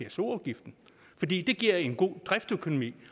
af pso afgiften fordi det gav en god driftsøkonomi